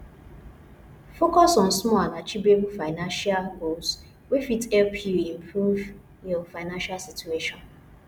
focus on small and achievable financial goals wey fit help you improve your financial situation